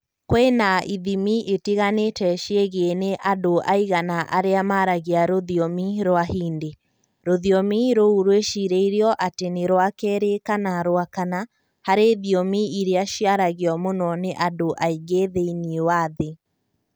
kwĩna ithimi itiganĩte ciĩgiĩ nĩ andũ aigana arĩa maaragia rũthiomi rwa Hindi. Rũthiomi rũu rwĩcirĩirio atĩ nĩ rwa kerĩ kana rwa kana harĩ thiomi iria ciaragio mũno nĩ andũ aingĩ thĩinĩ wa thĩ